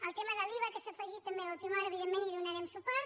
el tema de l’iva que s’ha afegit també a última hora evidentment hi donarem suport